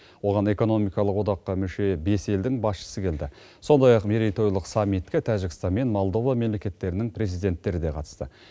оған экономикалық одаққа мүше бес елдің басшысы келді сондай ақ мерейтойлық саммитке тәжікстан мен молдова мемлекеттерінің президенттері де қатысты